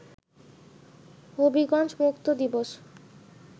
হবিগঞ্জ মুক্ত দিবস